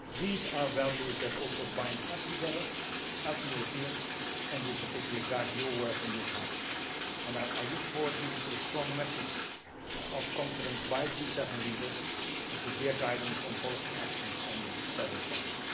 These are values that also bind us together as Europeans, and in particular guide your work in this House, and I look forward to a strong message of confidence by G7 leaders and to their guidance on policy actions on the several fronts.